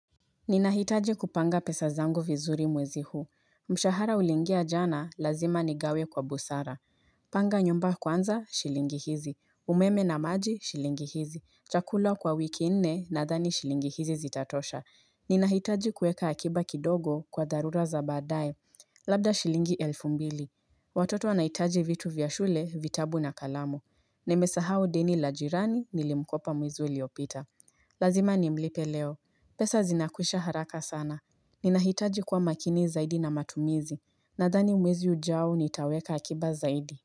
Ninahitaji kupanga pesa zangu vizuri mwezi huu, mshahara uliingia jana lazima nigawe kwa busara. Panga nyumba kwanza, shilingi hizi, umeme na maji, shilingi hizi, chakula kwa wiki nne, nadhani shilingi hizi zitatosha. Ninahitaji kuweka akiba kidogo kwa dharura za baadae, labda shilingi elfu mbili. Watoto wanahitaji vitu vyashule, vitabu na kalamu, nimesahau dini la jirani nilimkopa mwezi uliopita Lazima nimlipe leo. Pesa zinakwisha haraka sana. Ninahitaji kuwa makini zaidi na matumizi. Nadhani mwezi ujao nitaweka akiba zaidi.